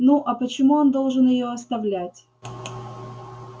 ну а почему он должен её оставлять